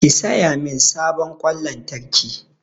Ki saya min sabon ƙwan lantarki!